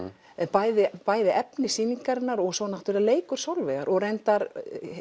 bæði bæði efni sýningarinnar svo leikur Sólveigar reyndar